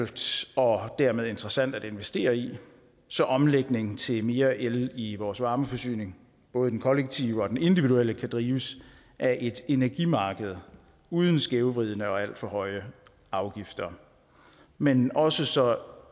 og dermed interessant at investere i så omlægningen til mere el i vores varmeforsyning både i den kollektive og den individuelle kan drives af et energimarked uden skævvridende og alt for høje afgifter men også så